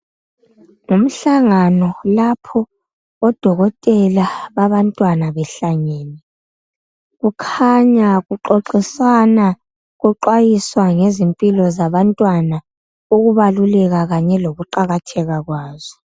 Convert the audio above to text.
Imihlangano lapho odokotela babantwana behlangene. Kukhanya kuxoxiswana kuqwayiswa yizipmphilo zabantwana ukubaluleka kanye lokuqakatheka kwazo.